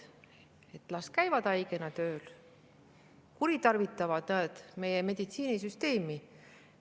Las inimesed käivad haigena tööl, kuritarvitavad meie meditsiinisüsteemi.